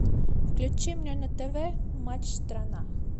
включи мне на тв матч страна